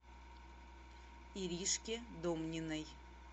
иришке домниной